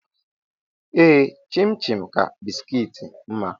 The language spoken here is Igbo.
Ee chin-chin ka bisikiiti mma.